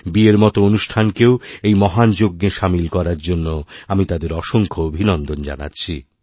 বিয়ের মতো অনুষ্ঠানকেও এই মহান যজ্ঞে সামিল করার জন্য আমি তাদেরঅসংখ্য অভিনন্দন জানাচ্ছি